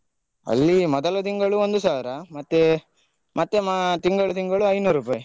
ಅಲ್ಲಿ ಮೊದಲ ತಿಂಗಳು ಒಂದು ಸಾವಿರ ಮತ್ತೆ ಮತ್ತೆ ಮಾ ತಿಂಗಳು ತಿಂಗಳು ಐನೂರುಪೈ.